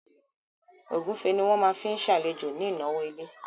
Ògúnfe ni wọ́n máa fi ṣàlejò ní ìnáwó ilé